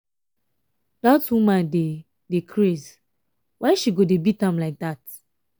that woman dey dey craze why she go dey beat am like dat.